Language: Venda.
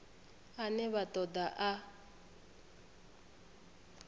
ane vha ṱo ḓa a